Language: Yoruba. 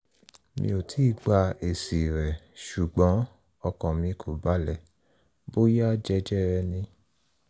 mi ò tíì gba èsì rẹ̀ ṣùgbọ́n ọkàn mi kò balẹ̀ bóyá jẹjẹrẹ ni